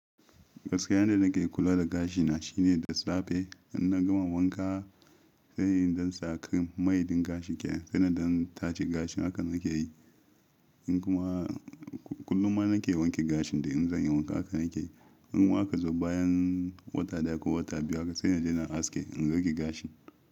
Gaskiyane nake kula da gashina shine da safe in na gama wanka sai in ɗan saakai mai din gashi kenan sai na ɗan taje gashin haka nake yi in kuma kullum ma nake wanke gashin da in zan yi wanka haka nake in kuma haka zo bayan wata daya ko wata biyu haka sai na je na aske in rage gashin.